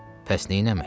Bəs neynəmək?